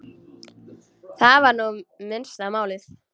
Það var nú minnsta málið.